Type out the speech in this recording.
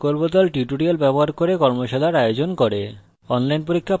কথ্য tutorial প্রকল্প the কথ্য tutorial ব্যবহার করে কর্মশালার আয়োজন করে